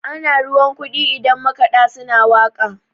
ana ruwan kudi idan makada suna waka